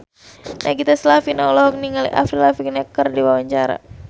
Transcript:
Nagita Slavina olohok ningali Avril Lavigne keur diwawancara